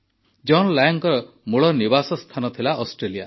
ଜନ ଲାଙ୍ଗ୍ଙ୍କ ମୂଳ ନିବାସ ସ୍ଥାନ ଥିଲା ଅଷ୍ଟ୍ରେଲିଆ